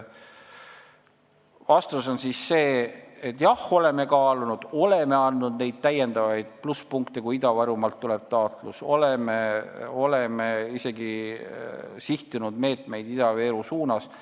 Vastus on siis jah: oleme kaalunud, oleme andnud täiendavaid plusspunkte, kui taotlus tuleb Ida-Virumaalt, oleme isegi sihtinud meetmeid Ida-Viru suunas.